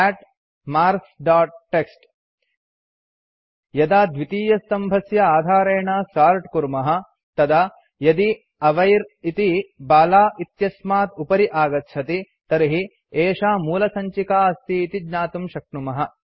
cat marks dot TXT यदा द्वितीयस्तम्भस्य आधारेण सोर्ट् कुर्मः तदा यदि अविर् इति बाला इत्यस्मात् उपरि आगच्छति तर्हि एषा मूलसञ्चिका अस्ति इति ज्ञातुं शक्नुमः